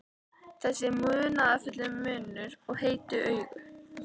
Þessi munúðarfulli munnur og heitu augu.